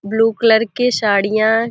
blue colour के साड़ियाँ --